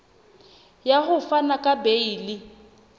ya ho fana ka beile